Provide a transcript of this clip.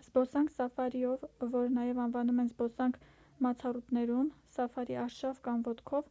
զբոսանք սաֆարիով որ նաև անվանում են «զբոսանք մացառուտներում» «սաֆարի արշավ» կամ «ոտքով»